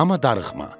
Amma darıxma.